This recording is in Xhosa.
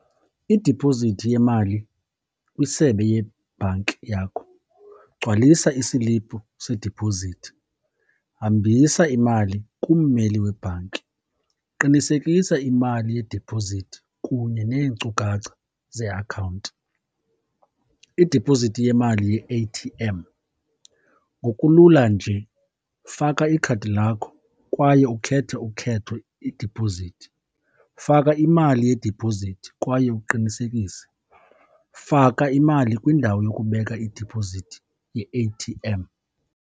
Idipozithi yemali kwisebe yebhanki yakho. Gcwalisa isilipu sediphozithi, hambisa imali kummeli webhanki, qinisekisa imali yedipozithi kunye neenkcukacha zeakhawunti. Idipozithi yemali ye-A_T_M. Ngokulula nje, faka ikhadi lakho kwaye ukhethe ukhetho idiphozithi. Faka imali yediphozithi kwaye uqinisekise. Faka imali kwindawo yokubeka idipozithi ye-A_T_M.